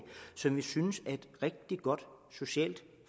som vi også synes er et rigtig godt socialt